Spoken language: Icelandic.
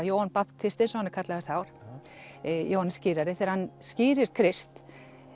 Jóhann babtisti eins og hann er kallaður þá Jóhannes skírari þegar hann Krist